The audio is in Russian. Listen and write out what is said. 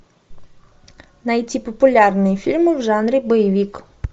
найти популярные фильмы в жанре боевик